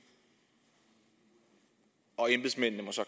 og embedsmændene må så